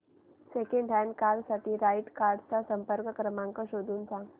second hand car साठी right cars चा संपर्क क्रमांक शोधून सांग